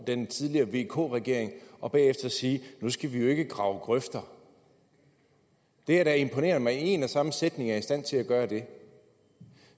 den tidligere vk regering og bagefter sige nu skal vi jo ikke grave grøfter det er da imponerende at man i en og samme sætning er i stand til at gøre det